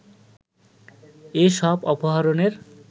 এ সব অপহরণের